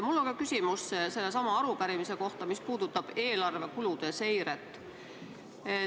Mul on ka küsimus sellesama arupärimise kohta, mis puudutab eelarve kulude seiret.